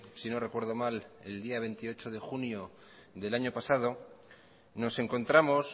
sino recuerdo mal el día veintiocho de junio del año pasado nos encontramos